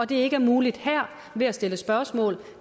det ikke er muligt her ved at stille spørgsmål